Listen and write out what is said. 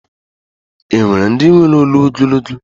E nwere ndi nwere olu ogologo.